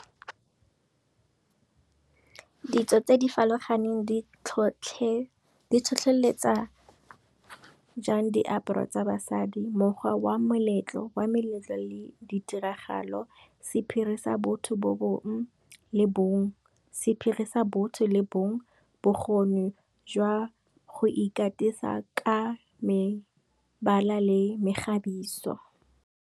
Ditso tse di farologaneng di tlhotlheletsa jang diaparo tsa basadi mokgwa meletlo le ditiragalo, sephiri sa botho le bong, bokgoni jwa go ikatisa ka mebala le mekgabiso.